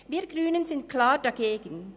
Wir Grünen sind klar dagegen.